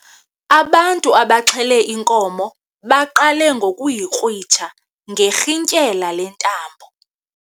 Abantu abaxhele inkomo baqale ngokuyikrwitsha ngerhintyela lentambo.